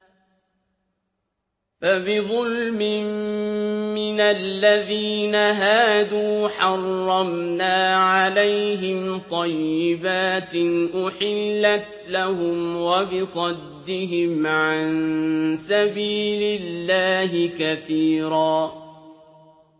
فَبِظُلْمٍ مِّنَ الَّذِينَ هَادُوا حَرَّمْنَا عَلَيْهِمْ طَيِّبَاتٍ أُحِلَّتْ لَهُمْ وَبِصَدِّهِمْ عَن سَبِيلِ اللَّهِ كَثِيرًا